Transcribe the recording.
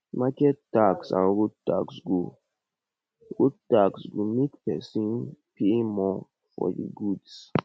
market tax and road tax go road tax go make pesin pay more for di goods